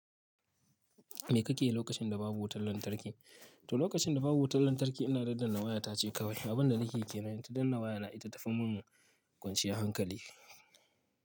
Me kake yi lokacin da babu wutar lantarki? To, lokacin da babu wutar lantarki ina daddan na waya tace kawai. Abin da nake ke nan ta danna waya na ita ta fi mun kwanciya hankali.